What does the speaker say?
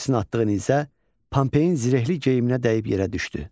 Kozisin atdığı nizə Pompeyin zirehli geyiminə dəyib yerə düşdü.